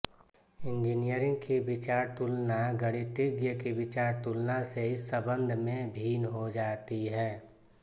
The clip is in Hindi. इंजीनियर की विचारतुलना गणितज्ञ की विचारतुलना से इस संबंध में भिन्न हो जाती है